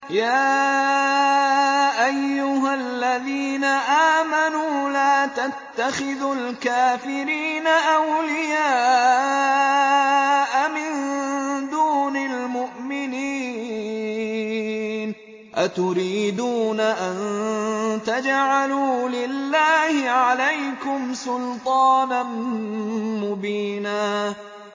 يَا أَيُّهَا الَّذِينَ آمَنُوا لَا تَتَّخِذُوا الْكَافِرِينَ أَوْلِيَاءَ مِن دُونِ الْمُؤْمِنِينَ ۚ أَتُرِيدُونَ أَن تَجْعَلُوا لِلَّهِ عَلَيْكُمْ سُلْطَانًا مُّبِينًا